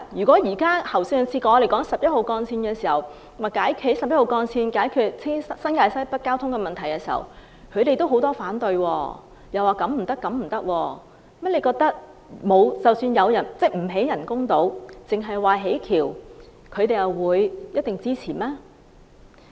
正如上次討論興建十一號幹線以解決新界西北交通擠塞問題時，他們也有很多反對聲音，指這方案不行那方案不行，難道政府不建人工島而只建大橋，他們就一定會支持嗎？